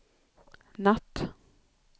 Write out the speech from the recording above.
natt